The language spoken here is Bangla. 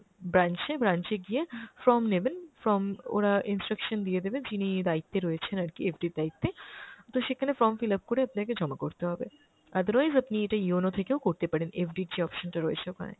branch এ, branch এ গিয়ে form নেবেন, form ওরা instruction দিয়ে দেবে যিনি দায়িত্বে রয়েছেন আরকি FD এর দায়িত্বে। তো সেখানে form fill up করে আপনাকে জমা করতে হবে। otherwise আপনি এটা yono থেকেও করতে পারেন FD র যে option টা রয়েছে ওখানে।